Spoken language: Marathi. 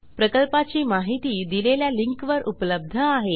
प्रकल्पाची माहिती दिलेल्या लिंकवर उपलब्ध आहे